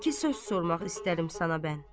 İki söz sormaq istəyirəm sana mən.